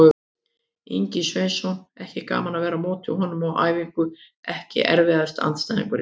Ingvi Sveinsson, ekki gaman að vera á móti honum á æfingu EKKI erfiðasti andstæðingur?